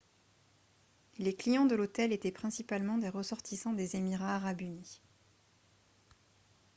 les clients de l'hôtel étaient principalement des ressortissants des émirats arabes unis